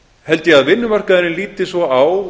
held ég að vinnumarkaðurinn líti svo á